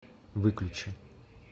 выключи